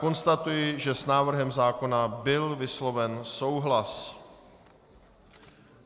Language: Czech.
Konstatuji, že s návrhem zákona byl vysloven souhlas.